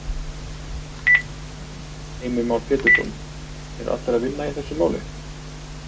Heimir Már Pétursson: Eru allir að vinna í þessu máli?